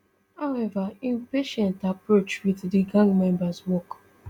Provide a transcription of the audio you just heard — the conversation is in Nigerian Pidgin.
however im patient approach wit di gang members work